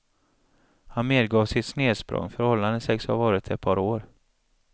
Han medgav sitt snedsprång, förhållandet sägs ha varat ett par år.